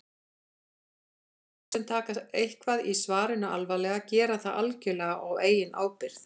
Lesendur sem taka eitthvað í svarinu alvarlega gera það algjörlega á eigin ábyrgð.